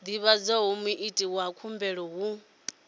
divhadza muiti wa khumbelo hu